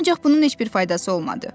Ancaq bunun heç bir faydası olmadı.